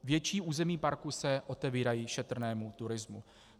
Větší území parku se otevírají šetrnému turismu.